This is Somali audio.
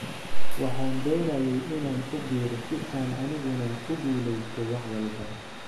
"Waxaan doonayay inaan ku biiro si aan aniguna u guuleysto wax walba."